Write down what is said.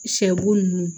Sɛ bo ninnu